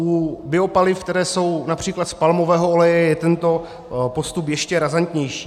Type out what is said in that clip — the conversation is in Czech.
U biopaliv, která jsou například z palmového oleje, je tento postup ještě razantnější.